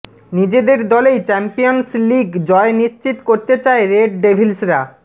নিজেদের দলেই Champions League জয় নিশ্চিত করতে চায় রেড ডেভিলসরা